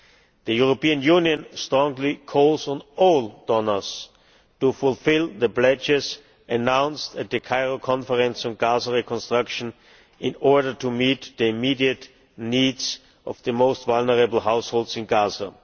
The European Union strongly calls on all donors to fulfil the pledges announced at the Cairo Conference on Gaza reconstruction in order to meet the immediate needs of the most vulnerable households in Gaza.